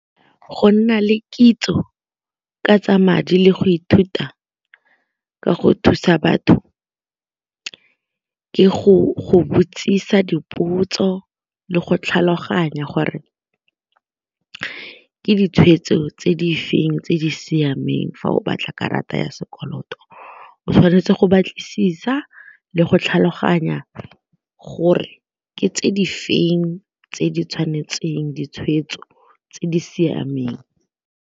Go nna le kitso ka tsa madi le go ithuta ka go thusa batho ke go botsisa dipotso le go tlhaloganya gore ke ditshweetso tse di feng tse di siameng fa o batla karata ya sekoloto, o tshwanetse go batlisisa le go tlhaloganya gore ke tse di feng tse di tshwanetseng ditshweetso tse di siameng.